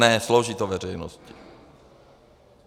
Ne, slouží to veřejnosti.